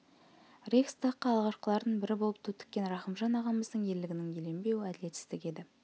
рейхстагқа алғашқылардың бірі болып ту тіккен рақымжан ағамыздың ерлігінің еленбеуі әділетсіздік еді